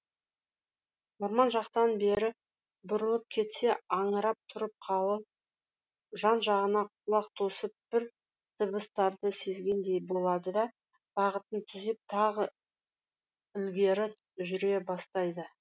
орман жақтан бері бұрылып кетсе аңырап тұрып қалып жан жағына құлақ тосып бір дыбыстарды сезгендей болады да бағытын түзеп тағы ілгері жүре бастайды